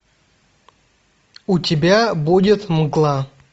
у тебя будет мгла